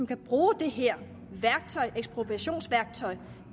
kan bruge det her værktøj ekspropriationsværktøjet